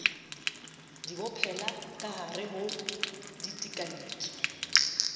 di bopella kahare ho ditekanyetso